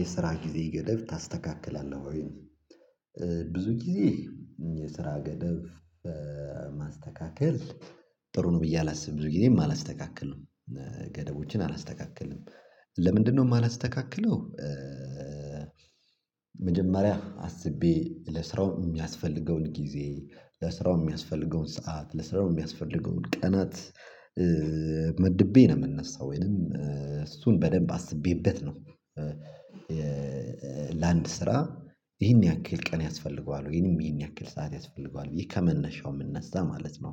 የስራ ጊዜ ገደብ ታስተካክላለህ ወይ ነው? ብዙ ጊዜ የስራ ገደብ ማስተካከል ጥሩ ነው ብዬ አላስብም ብዙ ጊዜም አላስተካክልም። ገደቦችን አላስተካክልም ለምንድነው የማላስተካክለው? መጀመሪያ አስቤ ለስራው የሚያስፈልገውን ጊዜ ለስራው የሚያስፈልገውን ሰዓት ለስራው የሚያስፈልገውን ቀናት መድቤ ነው የምነሳው ወይንም እሱን በደንብ አስቤበት ነው። ለአንድ ስራ ይሄን ያክል ቀን ያስፈልገዋል ወይንም ይሄን ያክል ሰዓት ያስፈልገዋል ብዬ ከመነሻው የምነሳ ማለት ነው።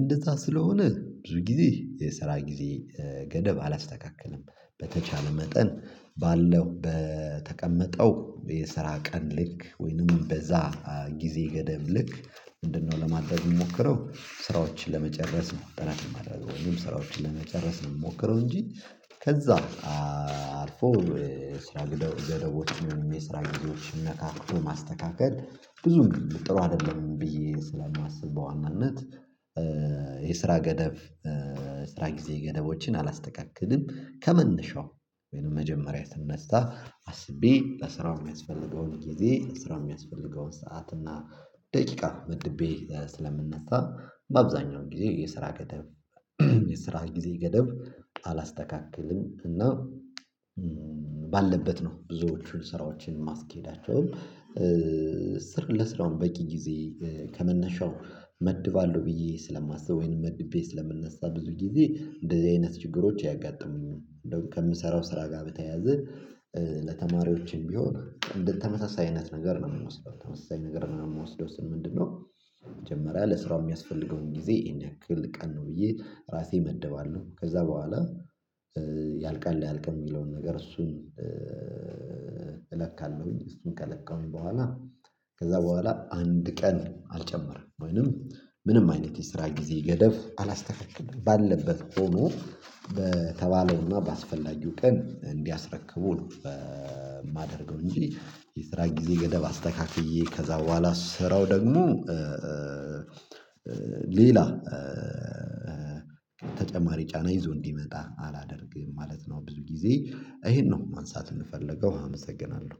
እንደዛ ስለሆነ ብዙ ጊዜ የስራ ጊዜ ገደብ አላስተካክልም። በተቻለ መጠን ባለው በተቀመጠው የስራ ቀን ልክ ወይንም በዛ ጊዜ ገደብ ልክ ምንድነው ለማድረግ የምሞክረው? ስራዎችን ለመጨረስ ነው ጥረት የማደርገው ወይም ስራዎችን ለመጨረስ ነው የምሞክረው እንጂ ከዛ አልፎ ስራ ገደቦችን የስራ ጊዜዎችን ነካክቶ ማስተካከል ብዙም ጥሩ አይደለም ብዬ ስለማስብ በዋናነት። የስራ ገደብ ስራ ጊዜ ገደቦችን አላስተካክልም። ከመነሻው ወይንም መጀመሪያ ስነሳ አስቤ ለስራው የሚያስፈልገውን ጊዜ ስራ የሚያስፈልገውን ሰዓት እና ደቂቃ መድቤ ስለምነሳ በአብዛኛው ጊዜ የስራ ገደብ የስራ ጊዜ ገደብ አላስተካክልም እና ባለበት ነው ብዙዎቹን ስራዎችን ማስኬዳቸው። ለስራውም በቂ ጊዜ ከመነሻው እመድባለሁ ብዬ ስለማስብ ወይንም መድቤ ስለምነሳ ብዙ ጊዜ እንደዚህ አይነት ችግሮች አያጋጥሙኝም እንደው ከምሰራው ስራ ጋር በተያያዘ ለተማሪዎችም ቢሆን ተመሳሳይ አይነት ነገር ነው የምወስደው ተመሳሳይ ነገር ነው የምወስደው። ምንድነው? መጀመሪያ ለስራው የሚያስፈልገውን ጊዜ ይሄን ያክል ቀን ነው ብዬ ራሴ እመድባለሁ ከዛ በኋላ ያልቃል አያልቅም የሚለውን ነገር እሱን። እለካለሁኝ እሱን ከለከሁኝ በኋላ ከዛ በኋላ አንድ ቀን አልጨመርም ወይንም ምንም አይነት የስራ ጊዜ ገደብ አላስተካክልም ባለበት ሆኖ በተባለውና ባስፈላጊው ቀን እንዲያስረክቡ ነው የማደርገው። እንጂ የስራ ጊዜ ገደብ አስተካክዬ ከዛ በኋላ ስራው ደግሞ ሌላ ተጨማሪ ጫና ይዞ እንዲመጣ አላደርግም ማለት ነው። ብዙ ጊዜ ይሄን ነው ማንሳት የምፈልገው አመሰግናለሁ